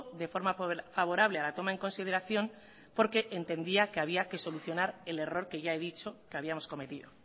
de forma favorable a la toma en consideración porque entendía que había que solucionar el error que ya he dicho que habíamos cometido